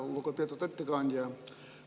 Lugupeetud ettekandja!